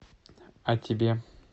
а тебе